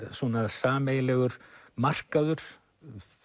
sameiginlegur markaður